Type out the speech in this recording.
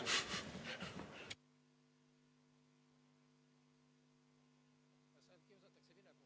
Vaheaeg üks minut.